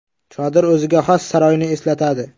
Chodir o‘ziga xos saroyni eslatadi.